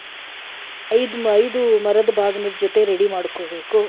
ಐದು ಐದು ಮರದ್ ಬಾಗ್ನ ಜೊತೆ ready ಮಾಡ್ಕೋಬೇಕು.